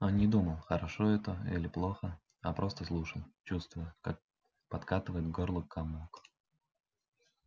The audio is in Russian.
он не думал хорошо это или плохо а просто слушал чувствуя как подкатывает к горлу комок